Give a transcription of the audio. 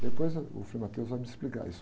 Depois ah, uh, o vai me explicar isso.